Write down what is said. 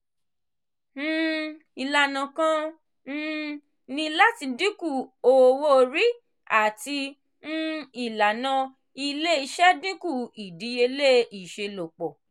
um ilana kan um ni lati dinku owo-ori ati um ilana ile-iṣẹ dinku idiyele iṣelọpọ.